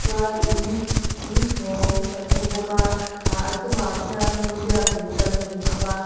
chuan in inchhawng kan hmu bawk a ahh a chungah khian biakin kan hmu bawk a.